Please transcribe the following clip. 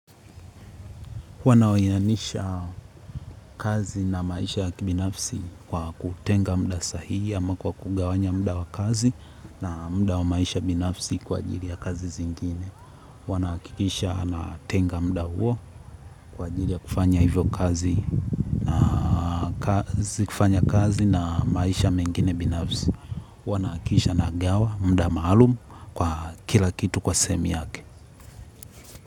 Wanaoanisha kazi na maisha ya kibinafsi kwa kutenga muda sahihi ama kwa kugawanya mda wa kazi na muda wa maisha binafsi kwa ajili ya kazi zingine. Wana hakikisha ana tenga mda huo kwa ajili ya kufanya hivyo kazi kazi na maisha mengine binafsi. Wana huwa nahakikisha na gawa mda maalumu kwa kila kitu kwa sehemu yake.